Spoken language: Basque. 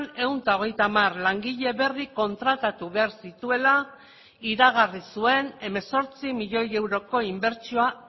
ehun eta hogeita hamar langile berri kontratatu behar zituela iragarri zuen hemezortzi milioi euroko inbertsioa